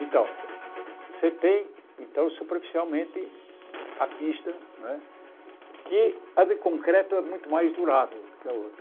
Então, você tem, então superficialmente, a pista, não é que a de concreto é muito mais durável do que a outra.